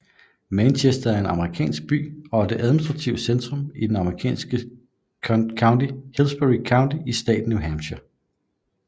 Manchester er en amerikansk by og administrativt centrum i det amerikanske county Hillsborough County i staten New Hampshire